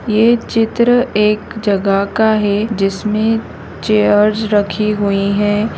ये चित्र एक जगह का है जिसमे चेयर्स रखी हुई है।